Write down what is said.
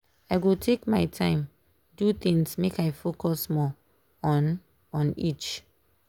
i go take my time do things make i focus more on on each.